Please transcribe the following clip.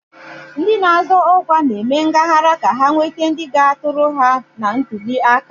Ndị na-azọ ọkwa na-eme ngaghara ka ha nwete ndị ga-atụrụ ha na ntuli aka.